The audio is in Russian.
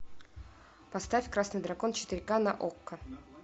поставь красный дракон четыре ка на окко